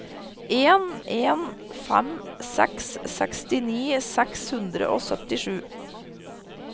en en fem seks sekstini seks hundre og syttisju